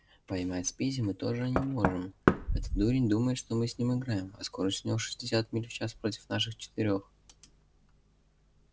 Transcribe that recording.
поймать спиди мы тоже не можем этот дурень думает что мы с ним играем а скорость у него шестьдесят миль в час против наших четырёх